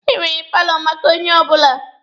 Emere paalọ maka onye ọbụla.